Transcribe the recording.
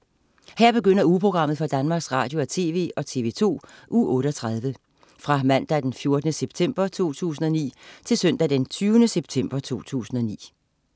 Her begynder ugeprogrammet for Danmarks Radio- og TV og TV2 Uge 38 Fra Mandag den 14. september 2009 Til Søndag den 20. september 2009